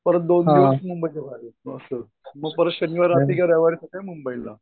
परत दोन दिवस मुंबईतून बाहेर जातो. असं मग परत शनिवारी रात्री का रविवारी सकाळी मुंबईला